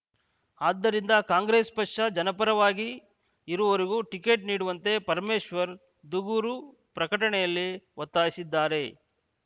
ಆದ್ದರಿಂದ ಕಾಂಗ್ರೆಸ್‌ ಪಕ್ಷ ಜನಪರವಾಗಿ ಇರುವವರಿಗೆ ಟಿಕೆಟ್‌ ನೀಡುವಂತೆ ಪರಮೇಶ್ವರ ದೂಗೂರು ಪ್ರಕಟಣೆಯಲ್ಲಿ ಒತ್ತಾಯಿಸಿದ್ದಾರೆ